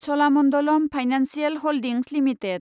Cholamandalam financial holdings limited